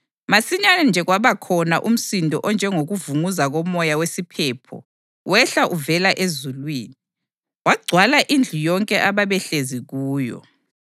Masinyane nje kwabakhona umsindo onjengokuvunguza komoya wesiphepho wehla uvela ezulwini, wagcwala indlu yonke ababehlezi kuyo.